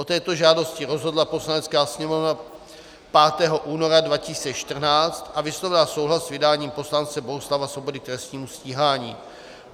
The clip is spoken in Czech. O této žádosti rozhodla Poslanecká sněmovna 5. února 2014 a vyslovila souhlas s vydáním poslance Bohuslava Svobody k trestnímu stíhání.